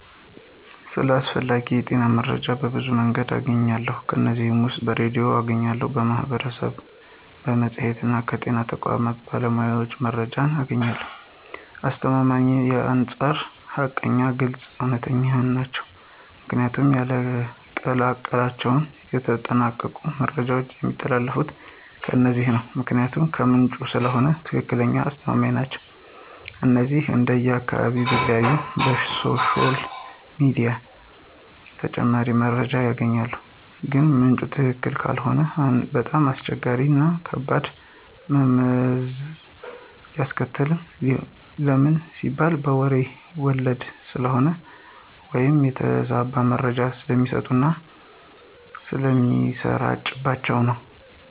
ስለ አስፈላጊ የጤና መረጃዎች በብዙ መንገድ አገኛለሁ ከነዚህም ውስጥ በሬድዮ አገኛለሁ፣ ከማህበረሰቡ፣ በመፅሔትና ከጤና ተቋማት ባሉ ባለሞያዎች መረጃዎችን አገኛለሁኝ፣ ከአስተማማኝነታቸውም አንፃር ሀቀኛና ግልፅ፣ እውነተኛ ናቸው ምክንያቱም ያለቀላቸውና የተጠናቀቁ መረጃዎች የሚተላለፊት ከነዚህ ነው ምክንያቱም ከምንጩ ስለሆነ ትክክለኛና አስተማማኝ ናቸው። እነዚህንም እንደየ አካባቢው ቢለያይም በሶሻል ሚዲያ ተጨማሪ መረጃዎች ይገኛሉ ግን ምንጩ ትክክለኛ ካልሆነ በጣም አስቸጋሪዎችና ከባድ መዘዝ ያስከትላል ለምን ሲባል በሬ ወለደ ስለሚሆን ወይም የተዛባ መረጃ ስለሚሰጡና ስለሚሰራጭባቸው ነው።